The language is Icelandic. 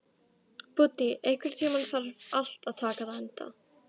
Búddi, einhvern tímann þarf allt að taka enda.